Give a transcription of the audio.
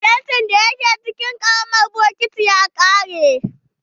Fenti da ya ke cikin ƙaramin bokiti ya ƙare.